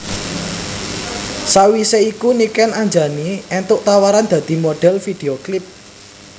Sawisé iku Niken Anjani éntuk tawaran dadi modhel video klip